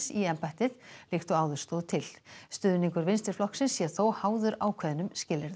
í embættið líkt og áður stóð til stuðningur Vinstriflokksins sé þó háður ákveðnum skilyrðum